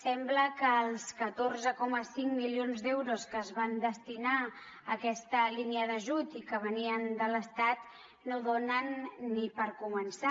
sembla que els catorze coma cinc milions d’euros que es van destinar a aquesta línia d’ajut i que venien de l’estat no donen ni per començar